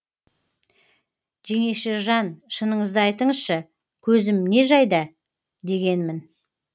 жеңешежан шыныңызды айтыңызшы көзім не жайда дегенмін